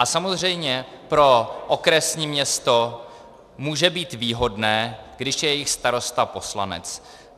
A samozřejmě pro okresní město může být výhodné, když je jejich starosta poslanec.